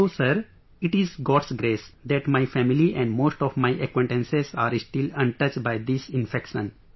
So sir, it is God's grace that my family and most of my acquaintances are still untouched by this infection